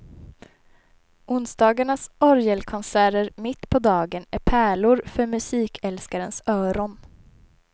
Onsdagarnas orgelkonserter mitt på dagen är pärlor för musikälskarens öron.